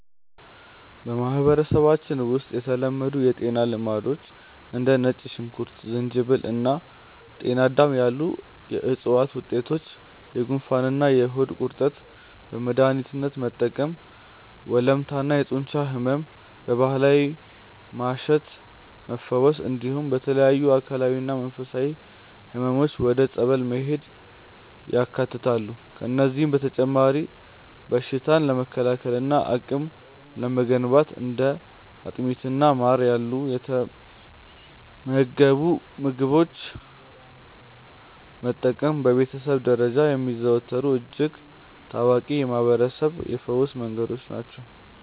በማህበረሰባችን ውስጥ የተለመዱ የጤና ልማዶች እንደ ነጭ ሽንኩርት፣ ዝንጅብል እና ጤናዳም ያሉ የዕፅዋት ውጤቶችን ለጉንፋንና ለሆድ ቁርጠት በመድኃኒትነት መጠቀምን፣ ወለምታና የጡንቻ ሕመምን በባህላዊ ማሸት መፈወስን፣ እንዲሁም ለተለያዩ አካላዊና መንፈሳዊ ሕመሞች ወደ ጸበል መሄድን ያካትታሉ። ከእነዚህም በተጨማሪ በሽታን ለመከላከልና አቅም ለመገንባት እንደ አጥሚትና ማር ያሉ የተመገቡ ምግቦችን መጠቀም በቤተሰብ ደረጃ የሚዘወተሩ እጅግ ታዋቂ የማህርበረሰብ የፈውስ መንገዶች ናቸው።